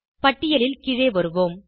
பட்டியலில் கீழே வருவோம்